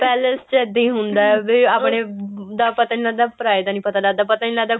palace ਚ ਇੱਦਾਂ ਹੀ ਹੁੰਦਾ ਆਪਣੇ ਦਾ ਪਤਾ ਹੀ ਨਹੀਂ ਲੱਗਦਾ ਪਰਾਏ ਦਾ ਪਤਾ ਹੀ ਨਹੀਂ ਲੱਗਦਾ